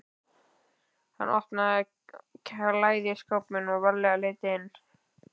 Hann opnaði klæðaskápinn varlega og leit inn.